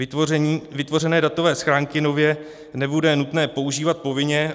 Vytvořené datové schránky nově nebude nutné používat povinně.